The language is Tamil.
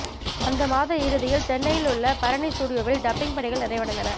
அந்த மாத இறுதியில் சென்னையில் உள்ள பரணி ஸ்டுடியோவில் டப்பிங் பணிகள் நிறைவடைந்தன